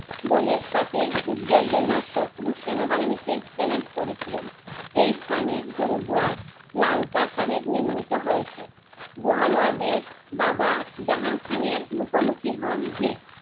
দলের সাথে যুদ্ধের জন্য শত্রুর সেনা বাহিনীকে চ্যালেঞ্জ করেছিলেন। এই স্থানে গুরুদোয়ার লালকা সাহেব নির্মিত হয়েছে। বহাল ওয়াদের বাবা জাহাং খানের মুখোমুখি হন